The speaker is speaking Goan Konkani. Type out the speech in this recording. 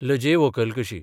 लजे व्हंकल कशी.